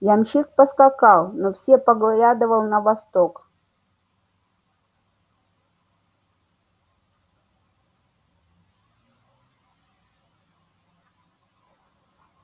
ямщик поскакал но все поглядывал на восток